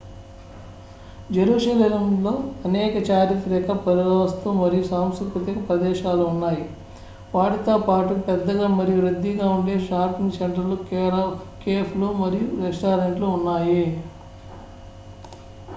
జెరూసలెంలో అనేక చారిత్రక పురావస్తు మరియు సాంస్కృతిక ప్రదేశాలు ఉన్నాయి వాటితో పాటు పెద్దగా మరియు రద్దీగా ఉండే షాపింగ్ సెంటర్లు కేఫ్లు మరియు రెస్టారెంట్లు ఉన్నాయి